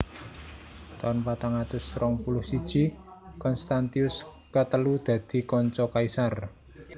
Taun patang atus rong puluh siji Konstantius katelu dadi kanca kaisar Kekaisaran Romawi Kulon